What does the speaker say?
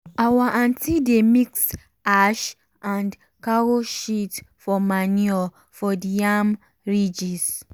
our aunty dey mix ash and cow shit for manure for the yam ridges